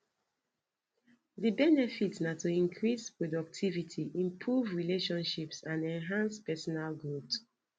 di benefit na to increase productivity improve relationships and enhance personal growth